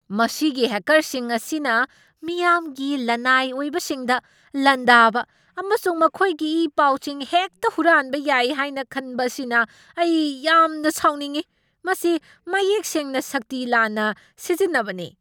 ꯃꯁꯤꯒꯤ ꯍꯦꯛꯀꯔꯁꯤꯡ ꯑꯁꯤꯅ ꯃꯤꯌꯥꯝꯒꯤ ꯂꯅꯥꯏ ꯑꯣꯏꯕꯁꯤꯡꯗ ꯂꯥꯟꯗꯥꯕ ꯑꯃꯁꯨꯡ ꯃꯈꯣꯏꯒꯤ ꯏ ꯄꯥꯎꯁꯤꯡ ꯍꯦꯛꯇ ꯍꯨꯔꯥꯟꯕ ꯌꯥꯏ ꯍꯥꯏꯅ ꯈꯟꯕ ꯑꯁꯤꯅ ꯑꯩ ꯌꯥꯝꯅ ꯁꯥꯎꯅꯤꯡꯢ ꯫ ꯃꯁꯤ ꯃꯌꯦꯛ ꯁꯦꯡꯅ ꯁꯛꯇꯤ ꯂꯥꯟꯅ ꯁꯤꯖꯤꯟꯅꯕꯅꯤ꯫